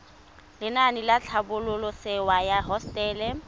lenaane la tlhabololosewa ya hosetele